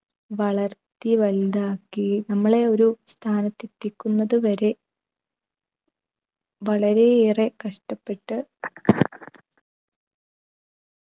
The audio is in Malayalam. വളർത്തി വലുതാക്കി നമ്മളെ ഒരു സ്ഥാനത്തെത്തിക്കുന്നതു വരെ വളരെയേറെ കഷ്ടപ്പെട്ട്